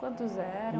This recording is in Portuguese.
Quantos eram?